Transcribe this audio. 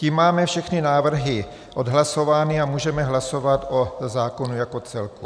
Tím máme všechny návrhy odhlasovány a můžeme hlasovat o zákonu jako celku.